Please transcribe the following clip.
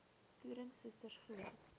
toerien susters glo